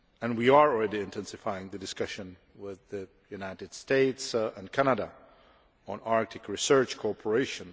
We are already intensifying the discussion with the United States and Canada on Arctic research cooperation.